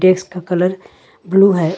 Desk का colour blue है।